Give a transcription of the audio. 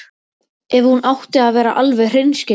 Ef hún átti að vera alveg hreinskilin.